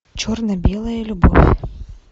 черно белая любовь